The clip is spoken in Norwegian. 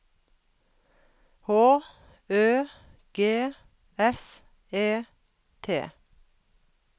H Ø G S E T